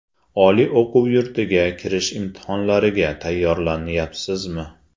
Oliy o‘quv yurtiga kirish imtihonlariga tayyorlanyapsizmi?